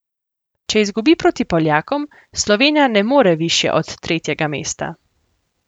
Če izgubi proti Poljakom, Slovenija ne more višje od tretjega mesta.